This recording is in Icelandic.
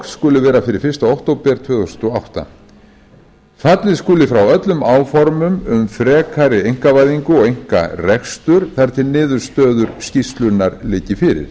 verklok skulu vera fyrir fyrsta október tvö þúsund og átta fallið skuli frá öllum áformum um frekari einkavæðingu og einkarekstur þar til niðurstöður skýrslunnar liggi fyrir